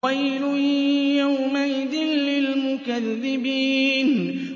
وَيْلٌ يَوْمَئِذٍ لِّلْمُكَذِّبِينَ